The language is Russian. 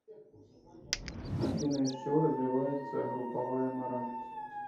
афина из чего развивается групповая мораль